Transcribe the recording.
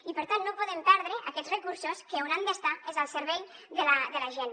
i per tant no podem perdre aquests recursos que on han d’estar és al servei de la gent